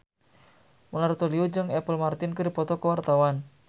Mona Ratuliu jeung Apple Martin keur dipoto ku wartawan